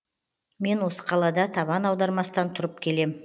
мен осы қалада табан аудармастан тұрып келем